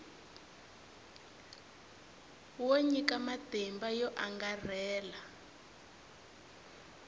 wo nyika matimba yo angarhela